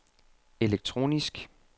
elektronisk